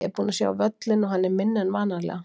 Ég er búinn að sjá völlinn og hann er minni en vanalega.